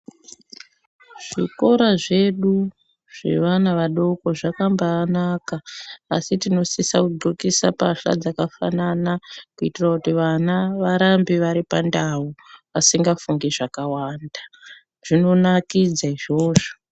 Zvikora zvedu zvevana vadoko zvakambanaka asi tinosisa kudhlokisa mbahla dzakafananakuitira kuti vana varambe vari pandau vasingafungi zvakawanda zvinonakidza izvozvo.